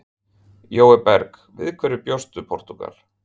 Jói Berg: Við hverju bjóst Portúgal?